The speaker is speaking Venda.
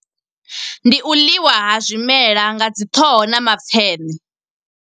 Ndi u ḽiwa ha zwimela nga dzi ṱhoho na mapfeṋe.